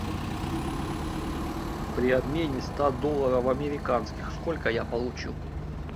при обмене ста долларов американских сколько я получу